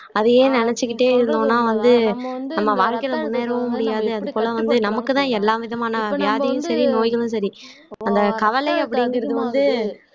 அதையே நினைச்சுக்கிட்டே இருந்தோம்னா வந்து நம்ம வாழ்க்கையில முன்னேறவும் முடியாது அது போல வந்து நமக்குதான் எல்லாவிதமான வியாதியும் சரி நோய்களும் சரி அந்த கவலை அப்படிங்கிறது வந்து